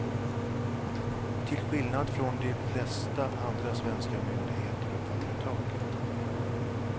Till skillnad från de flesta andra svenska myndigheter och företag.